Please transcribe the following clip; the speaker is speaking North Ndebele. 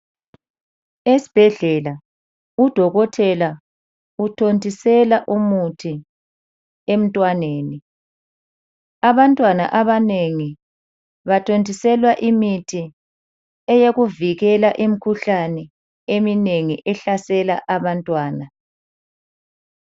Esibhedlela udokotela uthontisela umuthi emntwaneni. Abantwana abanengi bathontiselwa imithi eyokuvikela imikhuhlane eminengi ehlasela abantwana.